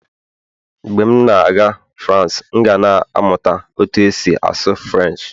mgbe m na-aga France, m ga na-amụta otú e si asụ Firench